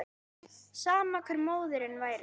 Sama hver móðirin væri.